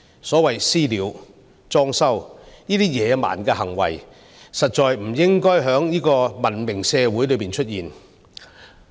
所謂"私了"、"裝修"等野蠻的行為，實在不應該在文明社會中出現。